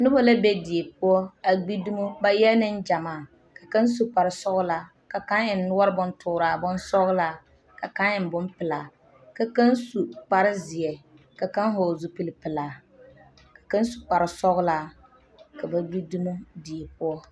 Noba la be die poɔ a gbi dumo ba e la nengyɛmaa ka kaŋa su kparsɔglaaka kaŋa eŋ noɔre bontooraa bonsɔglaa ka kaŋa eŋ bonpelaa ka kaŋa su kparezeɛ ka kaŋa vɔgle zupilpelaa ka kaŋa su kparsɔglaa ka ba gbi dumo die poɔ.